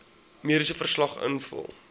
mediese verslag invul